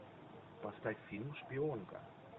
поставь фильм шпионка